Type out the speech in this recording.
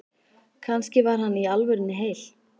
Kannski var hann í alvörunni heil